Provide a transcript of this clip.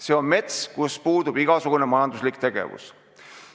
See on mets, kus puudub igasugune majanduslik tegevus.